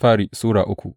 daya Bitrus Sura uku